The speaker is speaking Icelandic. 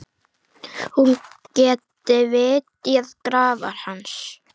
Hún geti vitjað grafar hans.